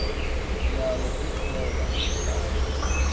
nalo ixhoba layo